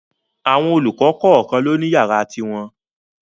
Àwọn olùkọ́ kọ̀kan ló ni yàrá ti wọn.